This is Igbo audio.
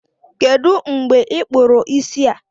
Kedụ mgbe I kpụrụ isi a?